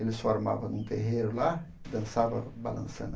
Eles formavam num terreiro lá e dançava balançando.